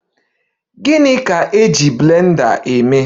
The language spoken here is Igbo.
Gịnị bụ blender eji maka?